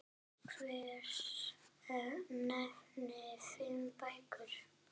Hver nefndi fimm bækur.